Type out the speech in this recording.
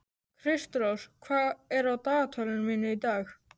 Kristrós, hvað er á dagatalinu mínu í dag?